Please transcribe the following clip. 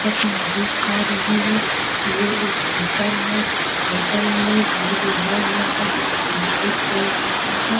जैसा की में देख पा रही हूँ ये एक होटल है होटल में एक बोर्ड लगा हुआ हे जिसमें नाईट चल रहा है।